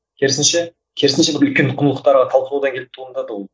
керісінше керісінше бір үлкен құндылықтарға талпынудан келіп туындады ол